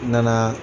N nana